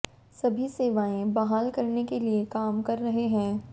सभी सेवाएं बहाल करने के लिए काम कर रहे हैं